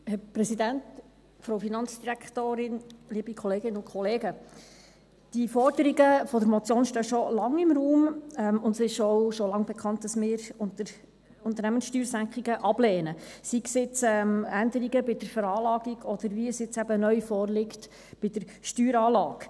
Die Forderungen der Motion stehen schon lange im Raum, und es ist auch schon lange bekannt, dass wir Unternehmenssteuersenkungen ablehnen, sei es bei Änderungen der Veranlagung oder, wie es jetzt eben neu vorliegt, bei der Steueranlage.